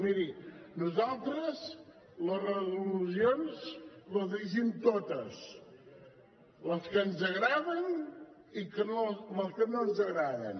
miri nosaltres les resolucions les llegim totes les que ens agraden i les que no ens agraden